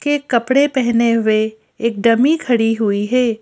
के कपड़े पहने हुए एक डमी खड़ी हुई है।